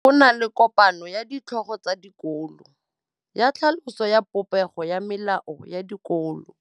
Go na le kopanô ya ditlhogo tsa dikolo ya tlhaloso ya popêgô ya melao ya dikolo.